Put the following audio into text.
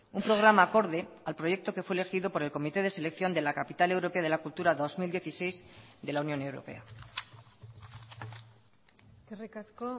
un programa acorde al proyecto que fue elegido por el comité de selección de la capital europea de la cultura dos mil dieciséis de la unión europea eskerrik asko